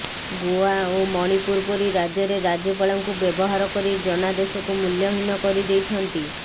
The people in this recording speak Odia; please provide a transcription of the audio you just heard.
ଗୋଆ ଓ ମଣିପୁର ପରି ରାଜ୍ୟରେ ରାଜ୍ୟପାଳଙ୍କୁ ବ୍ୟବହାର କରି ଜନାଦେଶକୁ ମୂଲ୍ୟହୀନ କରିଦେଇଛନ୍ତି